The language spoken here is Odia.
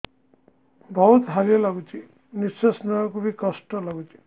ବହୁତ୍ ହାଲିଆ ଲାଗୁଚି ନିଃଶ୍ବାସ ନେବାକୁ ଵି କଷ୍ଟ ଲାଗୁଚି